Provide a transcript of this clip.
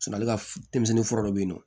ale ka denmisɛnnin fura dɔ bɛ yen nɔ